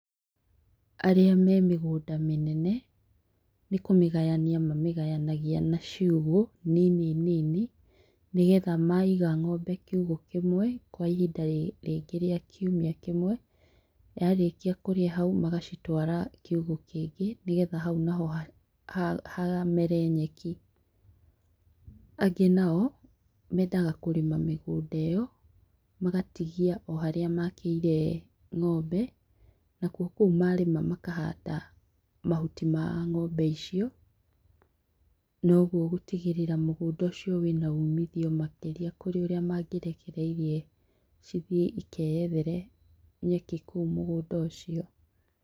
Arĩa me mĩgũnda mĩnene nĩ kũmĩgayania mamĩgayanagia na ciugũ nini nini nĩgetha maiga ng'ombe kiugũ kĩmwe kwa ihinda rĩngĩ rĩa kiumia kĩmwe, yarĩkia kũrĩa hau magacitwara kiũgũ kĩngĩ nĩgetha hau naho hamere nyeki. Angĩ nao mendaga kũrĩma mĩgũnda ĩyo magatigia o harĩa makĩire ng'ombe, nakuo kũu marĩma makahanda mahuti ma ng'ombe icio noguo gũtigĩrĩra mũgũnda ũcio wĩna umithio makĩria kũrĩ ũrĩa mangĩrekereirie cithiĩ ikeethere nyeki kũu mũgũnda ũcio.